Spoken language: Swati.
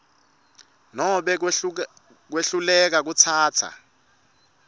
nobe kwehluleka kutsatsa